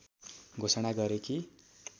घोषणा गरे कि